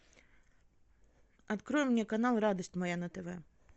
открой мне канал радость моя на тв